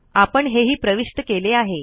आपण हेही प्रविष्ट केले आहे